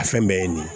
A fɛn bɛɛ ye nin ye